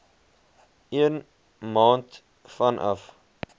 een maand vanaf